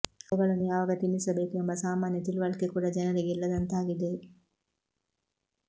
ಅವುಗಳನ್ನು ಯಾವಾಗ ತಿನ್ನಿಸಬೇಕು ಎಂಬ ಸಾಮಾನ್ಯ ತಿಳುವಳಿಕೆ ಕೂಡ ಜನರಿಗೆ ಇಲ್ಲದಂತಾಗಿದೆ